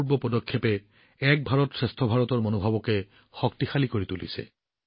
এয়া এক মহান পদক্ষেপ যি এক ভাৰত শ্ৰেষ্ঠ ভাৰতৰ মনোভাৱক শক্তিশালী কৰে